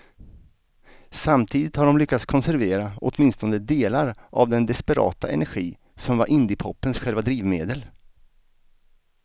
Samtidigt har de lyckats konservera åtminstone delar av den desperata energi som var indiepopens själva drivmedel.